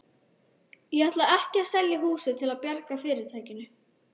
Ég ætla ekki að selja húsið til að bjarga fyrirtækinu.